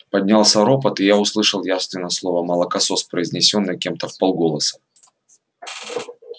поднялся ропот и я услышал явственно слово молокосос произнесённое кем-то вполголоса